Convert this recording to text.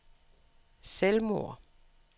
selvmord